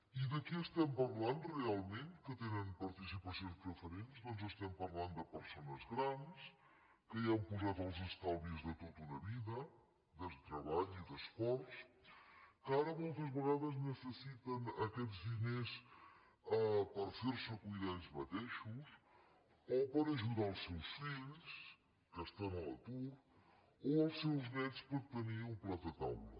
i de qui estem parlant realment que tenen participacions preferents doncs estem parlant de persones grans que hi han posat els estalvis de tota una vida de treball i esforç que ara moltes vegades necessiten aquests diners per fer se cuidar ells mateixos o per ajudar els seus fills que estan a l’atur o els seus néts per tenir un plat a taula